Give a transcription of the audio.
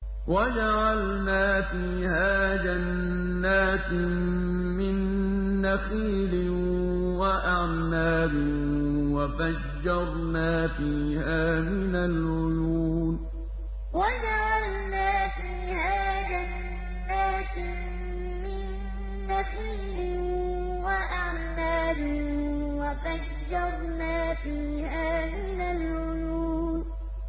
وَجَعَلْنَا فِيهَا جَنَّاتٍ مِّن نَّخِيلٍ وَأَعْنَابٍ وَفَجَّرْنَا فِيهَا مِنَ الْعُيُونِ وَجَعَلْنَا فِيهَا جَنَّاتٍ مِّن نَّخِيلٍ وَأَعْنَابٍ وَفَجَّرْنَا فِيهَا مِنَ الْعُيُونِ